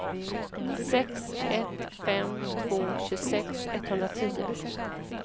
sex ett fem två tjugosex etthundratio